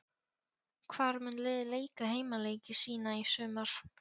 Hvar mun liðið leika heimaleiki sína í sumar?